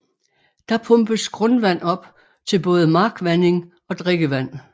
Der pumpes grundvand op til både markvanding og drikkevand